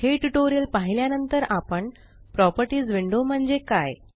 हे ट्यूटोरियल पाहिल्या नंतर आपण प्रॉपर्टीस विंडो म्हणजे काय